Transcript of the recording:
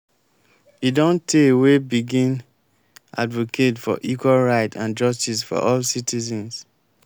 e don tey wey begin advocate for equal right and justice for all citizens.